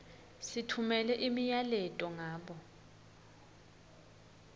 sitfumela imiyaleto ngabo